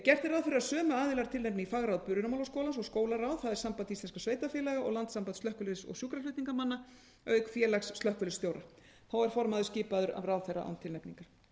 gert er ráð fyrir að sömu aðilar tilnefni í fagráð brunamálaskólans og skólaráð það er samband íslenskra sveitarfélaga og landssamband slökkviliðs og sjúkraflutningamanna auk félags slökkviliðsstjóra formaður er skipaður af ráðherra án tilnefningar